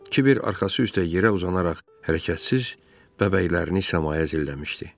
Kiber arxası üstə yerə uzanaraq hərəkətsiz bəbəklərini səmaya zilləmişdi.